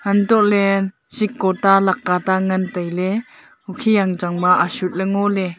untohley seko ta leka ta ngan tailey hokhi yangchang ba ashutley ngoley.